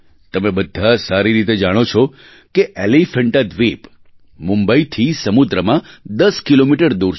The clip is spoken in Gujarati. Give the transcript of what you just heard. તમે બધા સારી રીતે જાણો છો કે એલીફેન્ટા દ્વીપ મુંબઈથી સમુદ્રમાં દસ કિલોમીટર દૂર છે